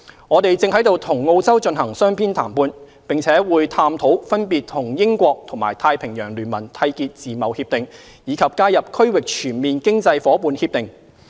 我們正與澳洲進行雙邊談判，並會探討分別與英國和太平洋聯盟締結自貿協定，以及加入"區域全面經濟夥伴協定"。